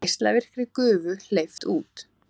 Geislavirkri gufu hleypt út